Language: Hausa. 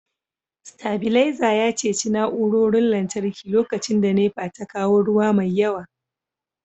stabilizer ya ceci na'urorin lantarki lokacin da NEPA ta kawo ruwa mai yawa